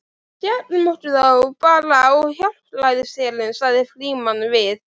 Við skellum okkur þá bara á Hjálpræðisherinn sagði Frímann við